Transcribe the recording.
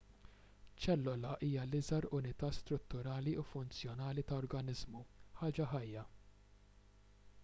ċellola hija l-iżgħar unità strutturali u funzjonali ta' organiżmu ħaġa ħajja